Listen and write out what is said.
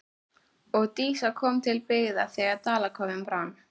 Og Dísa kom til byggða þegar Dalakofinn brann.